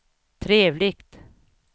trevligt